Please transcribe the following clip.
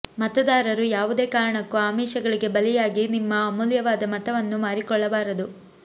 ಮತದಾರರು ಯಾವುದೇ ಕಾರಣಕ್ಕೂ ಆಮಿಷಗಳಿಗೆ ಬಲಿಯಾಗಿ ನಿಮ್ಮ ಅಮೂಲ್ಯವಾದ ಮತವನ್ನು ಮಾರಿಕೊಳ್ಳಬಾರದು